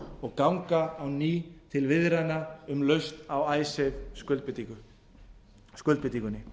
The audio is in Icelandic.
og ganga á ný til viðræðna um lausn á icesave skuldbindingunni